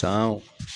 San